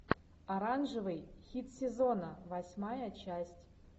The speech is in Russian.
оранжевый хит сезона восьмая часть